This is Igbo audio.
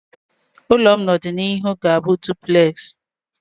Ụlọ m n'ọdịnihu ga-abụ Dụplesị